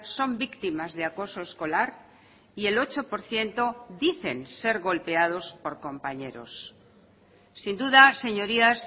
son víctimas de acoso escolar y el ocho por ciento dicen ser golpeados por compañeros sin duda señorías